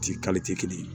Ci kelen